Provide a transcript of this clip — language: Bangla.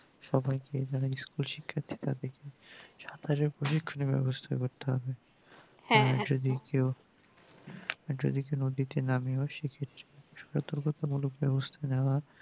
সবাইকে যারা school শিক্ষার্থী তাদের কে সাঁতারের project ব্যবস্থা করতে হবে আর যদি কেউ যদি কেউ নদীতে নামেও সেই ক্ষেত্রে সতর্কতো মূলক ব্যবস্থা নেওয়া